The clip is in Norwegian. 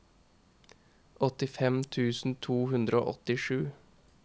åttifem tusen to hundre og åttisju